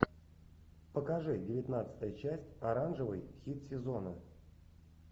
покажи девятнадцатая часть оранжевый хит сезона